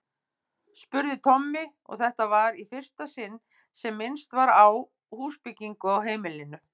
spurði Tommi, og þetta var í fyrsta sinn sem minnst var á húsbyggingu á heimilinu.